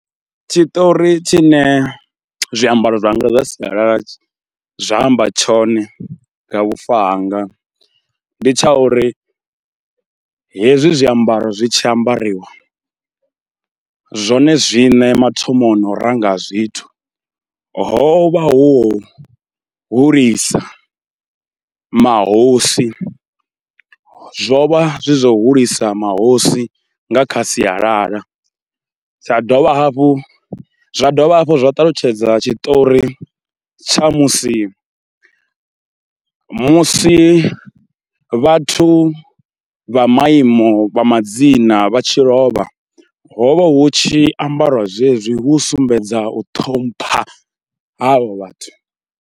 Tshiṱori tshine zwiambaro zwanga zwa sialala zwa amba tshone nga vhufa hanga ndi tsha uri hezwi zwiambaro zwi tshi ambariwa, zwone zwiṋe mathomoni o ranga zwithu, ho vha hu hulisa mahosi, zwo vha zwi zwa hulisa mahosi nga kha sialala. Tsha dovha hafhu, zwa dovha hafhu zwa ṱalutshedza tshiṱori tsha musi musi vhathu vha maiimo vha madzina vha tshi lovha hovha hu tshi ambariwa zwezwi hu u sumbedza u ṱhompha havho vhathu.